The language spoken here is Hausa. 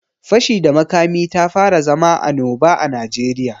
Fashi da makami tafara zama anoba a Najeriya.